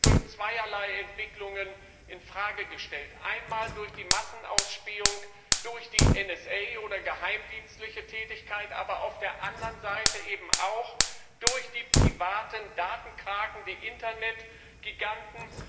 Die ist durch zweierlei Entwicklungen in Frage gestellt Einmal durch die Massenausspähung durch die NSA oder geheimdienstliche Tätigkeit, aber auf der anderen Seite eben auch durch die privaten Datenkraken, die Internetgiganten.